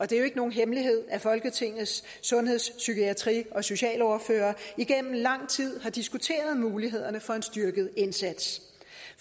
det er jo ikke nogen hemmelighed at folketingets sundheds psykiatri og socialordførere igennem lang tid har diskuteret mulighederne for en styrket indsats